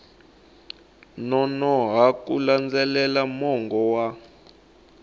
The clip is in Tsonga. nonoha ku landzelela mongo wa